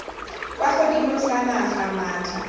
kwa godimo sa naga maatla